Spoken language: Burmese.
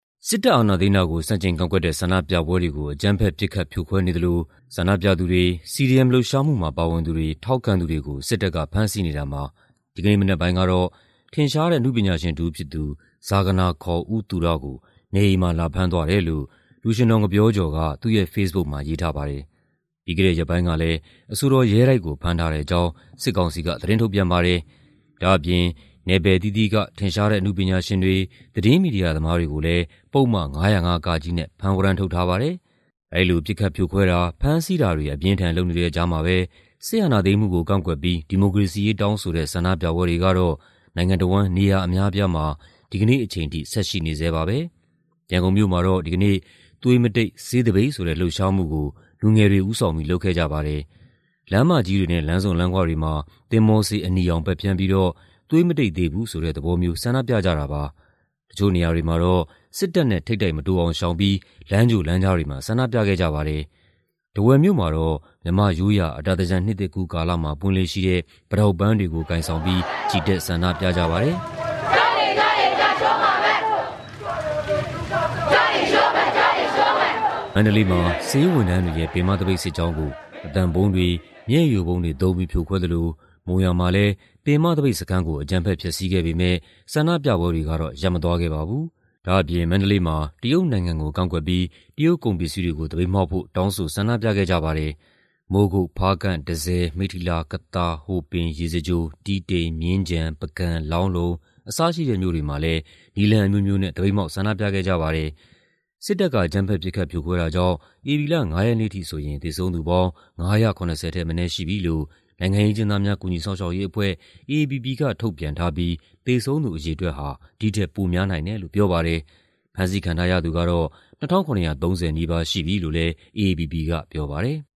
စစ်တပ်အာဏာသိမ်းတာကို ဆန့်ကျင်ကန့်ကွက်တဲ့ ဆန္ဒပြပွဲတွေကို အကြမ်းဖက် ပစ်ခတ်ဖြိုခွဲနေသလို ဆန္ဒပြသူတွေ၊ CDM လှုပ်ရှားမှုမှာ ပါဝင်သူတွေ၊ ထောက်ခံသူတွေကို စစ်တပ်ကဖမ်းဆီးနေတာမှာ ဒီကနေ့မနက်ပိုင်းကတော့ ထင်ရှားတဲ့ အနုပညာရှင်တဦးဖြစ်သူ ဇာဂနာ ခေါ် ဦးသူရကို နေအိမ်မှာ လာဖမ်းသွားတယ်လို့ လူရွှင်တော် ငပျောကျော်က သူ့ရဲ့ဖေ့စ်ဘုတ်မှာ ရေးထားပါတယ်။ ပြီးခဲ့တဲ့ရက်ပိုင်းကလည်း အဆိုတော် ရဲတိုက်ကို ဖမ်းထားတဲ့အကြောင်း စစ်ကောင်စီက သတင်းထုတ်ပြန်ပါတယ်။ ဒါ့အပြင် နယ်ပယ်အသီးသီးက ထင်ရှားတဲ့ အနုပညာရှင်တွေ၊ သတင်းမီဒီယာသမားတွေကိုလည်း ပုဒ်မ ၅၀၅ (က)နဲ့ ဖမ်းဝရမ်းထုတ်ထားပါတယ်။ အဲဒီလို ပစ်ခတ်ဖြိုခွဲတာ၊ ဖမ်းဆီးတာတွေ အပြင်းအထန် လုပ်နေတဲ့ကြားမှာပဲ စစ်အာဏာသိမ်းမှုကို ကန့်ကွက်ပြီး ဒီမိုကရေစီရေးတောင်းဆိုတဲ့ ဆန္ဒပြပွဲတွေကတော့ နိုင်ငံတဝန်း နေရာအများအပြားမှာ ဒီကနေ့အချိန်ထိ ဆက်ရှိနေဆဲပါပဲ။ ရန်ကုန်မြို့မှာတော့ ဒီကနေ့ သွေးမတိတ် ဆေးသပိတ်ဆိုတဲ့ လှုပ်ရှားမှုကို လူငယ်တွေ ဦးဆောင်ပြီး လုပ်ခဲ့ကြပါတယ်။ လမ်းမကြီးတွေနဲ့ လမ်းဆုံလမ်းခွတွေမှာ သင်္ဘောဆေးအနီရောင် ပက်ဖျန်းပြီးတော့ သွေးမတိတ်သေးဘူးဆိုတဲ့ သဘောမျိုး ဆန္ဒပြကြတာပါ။ တချို့နေရာတွေမှာတော့ စစ်တပ်နဲ့ ထိပ်တိုက်မတိုးအောင်ရှောင်ပြီး လမ်းကြိုလမ်းကြားတွေမှာ ဆန္ဒပြခဲ့ကြပါတယ်။ ထားဝယ်မြို့မှာတော့ မြန်မာ့ရိုးရာ အတာသင်္ကြန် နှစ်သစ်ကူးကာလမှာ ပွင့်လေ့ရှိတဲ့ ပိတောက်ပန်းတွေကို ကိုင်ဆောင်ပြီး ချီတက်ဆန္ဒပြကြပါတယ်။ မန္တလေးမှာ ဆေးဝန်ထမ်းတွေရဲ့ ပင်မသပိတ်စစ်ကြောင်းကို အသံဗုံးတွေ၊ မျက်ရည်ယိုဗုံးတွေသုံးပြီး ဖြိုခွဲသလို မုံရွာမှာလည်း ပင်မသပိတ်စခန်းကို အကြမ်းဖက်ဖျက်ဆီးခဲ့ပေမယ့် ဆန္ဒပြပွဲတွေကတော့ ရပ်မသွားခဲ့ပါဘူး။ ဒါ့အပြင် မန္တလေးမှာ တရုတ်နိုင်ငံကိုလည်း ကန့်ကွက်ဆန္ဒပြခဲ့ကြပါတယ်။ မိုးကုတ်၊ ဖားကန့်၊ တန်ဆည်၊ မိတ္ထီလာ၊ ကသာ၊ ဟိုပင်၊ ရေစကြို၊ တီးတိန်၊ မြင်းခြံ၊ ပုဂံ၊ လောင်းလုံ အစရှိတဲ့မြို့တွေမှာလည်း နည်းလမ်းအမျိုးမျိုးနဲ့ သပိတ်မှောက် ဆန္ဒပြခဲ့ကြပါတယ်။ စစ်တပ်က အကြမ်းဖက် ပစ်ခတ်ဖြိုခွဲတာကြောင့် ဧပြီလ ၅ ရက်နေ့အထိဆိုရင် သေဆုံးသူပေါင်း ၅၇၀ ထက်မနည်းရှိပြီလို့ နိုင်ငံရေးအကျဉ်းသားများ ကူညီစောင့်ရှောက်ရေးအဖွဲ့ (AAPP) က ထုတ်ပြန်ထားပြီး သေဆုံးသူ အရေအတွက်ဟာ ဒီထက်ပိုများနိုင်တယ်လို့ ပြောပါတယ်။ ဖမ်းဆီးခံထားရသူကတော့ ၂,၇၃၀ နီးပါးရှိပြီလို့လည်း AAPP ကပြောပါတယ်။